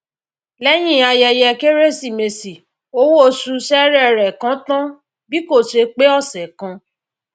lẹyìn ayẹyẹ kérésìmesì owó oṣù sere rẹ kán tán bí kò ṣe pé ọsẹ kan